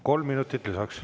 Kolm minutit lisaks.